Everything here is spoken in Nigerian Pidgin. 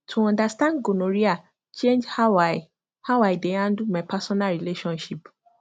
to understand gonorrhea change how i how i dey handle my personal relationship